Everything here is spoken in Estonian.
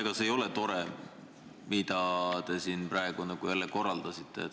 Ega see ei ole tore, mille te siin jälle korraldasite.